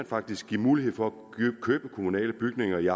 faktisk mulighed for at købe kommunale bygninger i